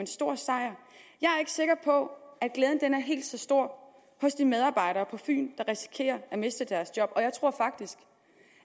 stor sejr jeg er ikke sikker på at glæden er helt så stor hos de medarbejdere på fyn der risikerer at miste deres job og jeg tror faktisk